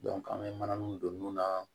an bɛ mananinw don nun na